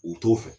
U t'o fɛ